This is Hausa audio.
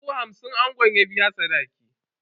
Dubu hamsin angon ya biya sadaki.